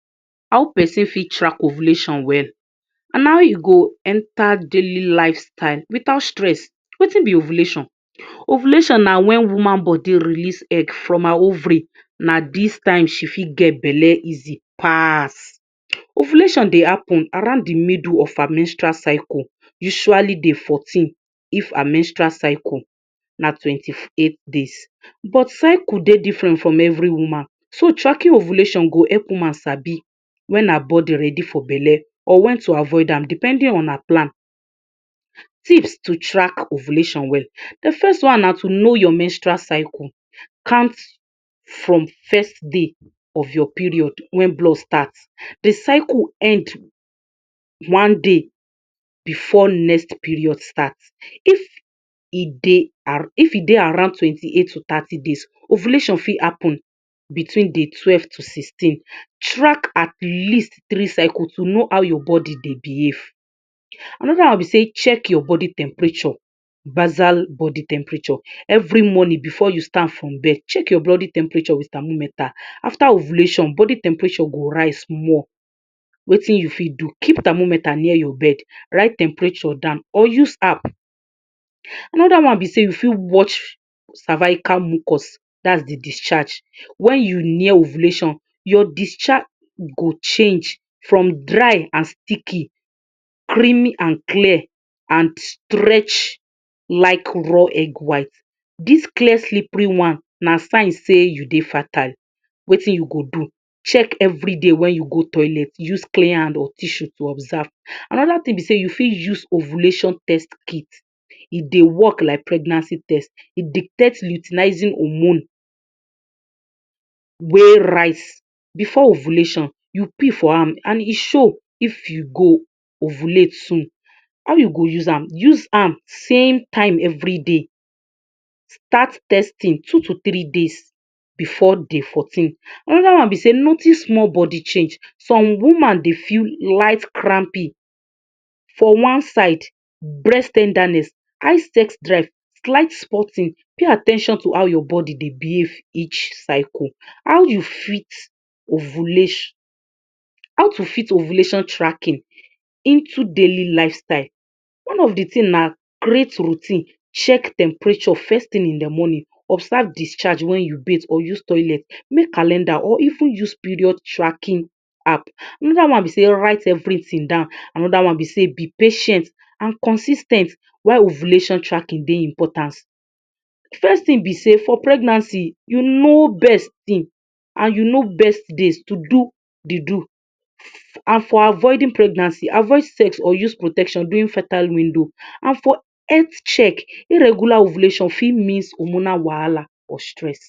How pesin fit trak ovulation well and how e go enta daily life style without stress, wetin be ovulation? Ovulation na wen woman bodi release egg from her ovary, na dis time she fit get belle easy paaas, ovulation dey happen around di middle of her menstrual circle, usually day fourteen if her menstrual circle na twenty eight days but circle dey different for every woman so trakin of ovulation go help woman sabi wen her bodi ready for belle or wen to avoid am depending on her plan tips to trk ovulation well, di fest one na to no your menstrual circle, count from fest day of your period wen blood start, di circle end one day befor next period start, if e dey if e dey around twenty eight or thirty day ovulation fit hapun between day twelve to sixteen track at least three circle to no how your body dey behave, anoda one be sey check your bodi temperature basal bodi temperature every morni before you stand for bed, check your bodi temperature wit thermometer after ovulation bodi temperature go rise small wetin you fit do keep thermometer near your bed write temperature down or use app, anoda one be say you fit watch cervical mucus dat is di discharge when you nia ovulation your discharge go change from dry and sticky, creamy and clear and stretch like raw egg white dis clear slippery one na sign sey you dey fertile, wey tin you go do, check every day you go toilet use clear hand or tissue to observe anoda tin be sey you fit use ovulation test kid, e dey work like pregnancy test kit, e detect litnizin hormone wey rise before ovulation you pee for am and e show if you go ovulate soon, how you go use am? Use am same time every day, start testing two to three days before day fourteen another one be say notice small bodi change, some woman dey feel light crampy for one side, breast ten derness, eye test drive, slit spoting, pay at ten tion to how your body dey behave each circle how you fit ovulate um how to fit ovulate trakin in to daily life style, one of di tin na create routine, check temperature fest tin in di morni, observe discharge when you bath or use toilet, make calendar or even use period trakin app anoda one be sey write every tin down, anoda wan be sey be patient and consis ten t why ovulation trakin dey Important fest tin be say for pregnancy you no best and you no best days to do di do, and for avoiding pregnancy, avoid sex or use protection during fertile window and for health check irregular ovulation fit means hormonal wahala or stress